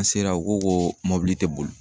An sera u ko koo mɔbili te boli.